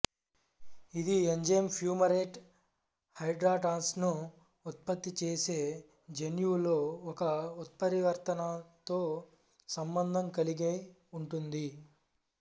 ఇది enzyme fumarate హైడ్రటాస్ను ఉత్పత్తి చేసే జన్యువులో ఒక ఉత్పరివర్తనతో సంబంధం కలిగి ఉంటుంది